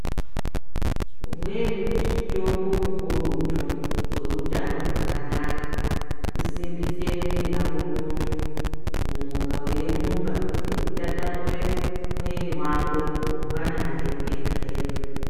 Umweni mutombo mukurutu weutano hwakanaka kusimbisa mwiri yako muntu kumuka weirumba nekutatamura mwiri wako mangwanani ega ega .